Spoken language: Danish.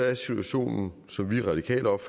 resolutioner